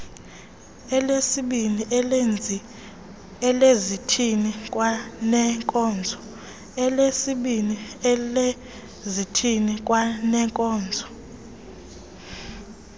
elesibini elezithili kwaneenkonzo